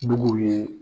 Duguw ye